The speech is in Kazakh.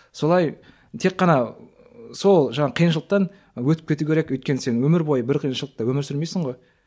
солай тек қана сол жаңағы қиыншылықтан өтіп кету керек өйткені сен өмір бойы бір қиыншылықта өмір сүрмейсің ғой